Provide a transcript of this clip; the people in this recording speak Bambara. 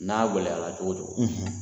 N'a gɛlɛyara cogo cogo